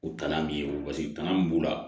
O tana b'i ye paseke tana min b'u la